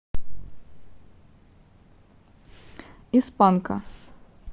из панка